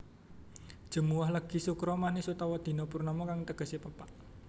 Jemuwah Legi Sukra Manis utawa Dina Purnama kang tegesé pepak